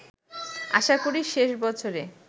আশা করি শেষ বছরে